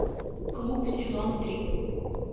клуб сезон три